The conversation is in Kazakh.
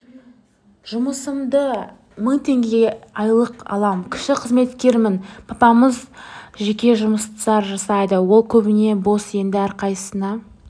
жұмысымда мың теңге айлық алам кіші қызметкермін папамыз жеке жұмыстар жасайды ол көбіне бос енді әрқайсысына